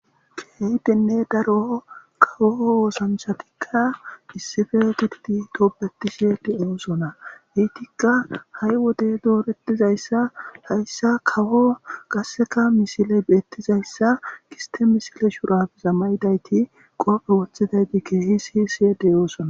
keyi denne daro kawo oosanthatikka issife gidti toobeti siye de oosona heytikka ha7i wode doorettizayssa hayssa kawo qasseka misile beettizayssa giste misile shurafiza maydayti qoope wothidayti keehi si siyedeyoosona